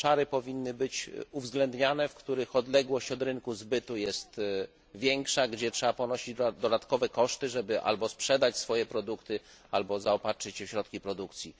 Powinny być uwzględniane obszary, w których odległość od rynku zbytu jest większa, gdzie trzeba ponosić dodatkowe koszty, żeby albo sprzedać swoje produkty, albo zaopatrzyć się w środki produkcji.